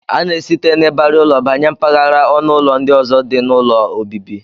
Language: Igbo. A na-esite n'ịbarị ụlọ banye mpaghara ọnụụlọ ndị ọzọ dị n'ụlọ obibi